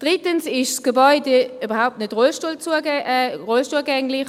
Drittens ist das Gebäude überhaupt nicht rollstuhlgängig.